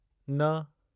न